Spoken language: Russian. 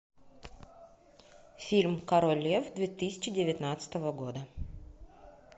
фильм король лев две тысячи девятнадцатого года